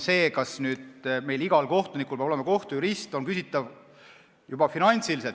See, kas igal kohtunikul peab olema kohtujurist, on finantsiliselt küsitav.